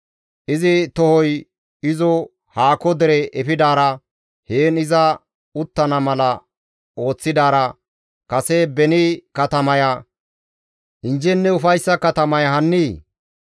Izi tohoy izo haako dere efidaara heen iza uttana mala ooththidaara, kase beni katamaya injjenne ufayssa katamaya hannii?